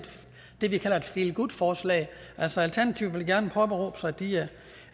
det vi kalder et feel good forslag altså alternativet vil gerne påberåbe sig at de er